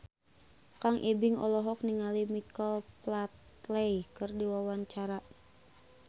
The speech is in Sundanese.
Kang Ibing olohok ningali Michael Flatley keur diwawancara